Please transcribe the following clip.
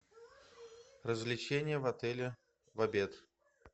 развлечения в отеле в обед